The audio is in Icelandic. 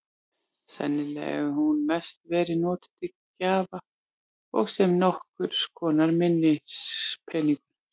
Sennilega hefur hún mest verið notuð til gjafa og sem nokkurs konar minnispeningur.